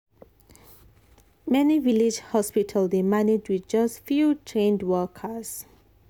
many village hospital dey manage with just few trained workers.